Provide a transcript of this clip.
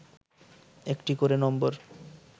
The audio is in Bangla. একটি করে নম্বর